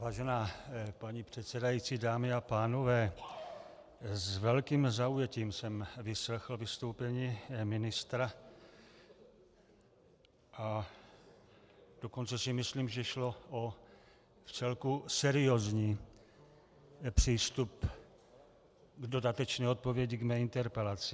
Vážená paní předsedající, dámy a pánové, s velkým zaujetím jsem vyslechl vystoupení ministra, a dokonce si myslím, že šlo o vcelku seriózní přístup k dodatečné odpovědi k mé interpelaci.